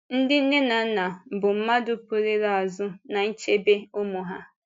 Ndị nne na nna bụ́ mmadụ pụrụ ịla azụ n’ichebe ụmụ ha.